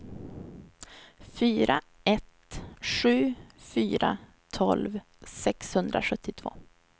fyra ett sju fyra tolv sexhundrasjuttiotvå